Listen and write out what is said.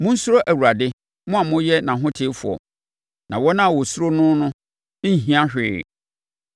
Monsuro Awurade, mo a moyɛ nʼahotefoɔ, na wɔn a wɔsuro noɔ no nhia hwee.